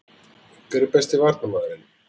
Hver er besti Varnarmaðurinn?